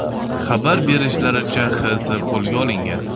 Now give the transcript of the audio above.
Xabar berishlaricha, X.S qo‘lga olingan.